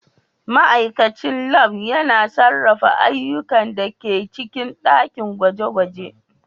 Ma'aikacin Lab yana sarrafa ayyukan da ke cikin ɗakin gwaje-gwaje.